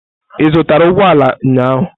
Ị zụtara ụgbọ ala ụnyahụ?